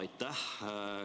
Aitäh!